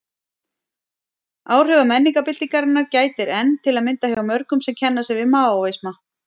Áhrifa menningarbyltingarinnar gætir enn, til að mynda hjá mörgum sem kenna sig við Maóisma.